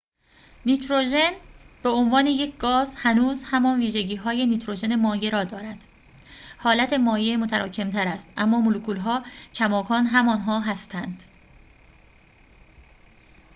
نیتروژن به عنوان یک گاز هنوز همان ویژگی های نیتروژن مایع را دارد حالت مایع متراکم تر است اما مولکول ها کماکان همان‌ها هستند